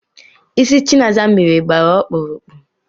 Ịsị Chinasa mere gbara ọkpụrụkpụ